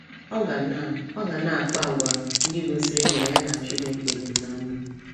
Ọ ga na Ọ ga na - akpa àgwà ndị gosiri na ya na Chineke dị ná mma.